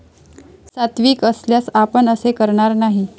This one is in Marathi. सात्विक असल्यास आपण असे करणार नाही.